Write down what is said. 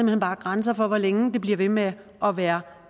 hen bare grænser for hvor længe det bliver ved med at være